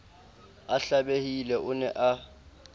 a hlabehile o ne a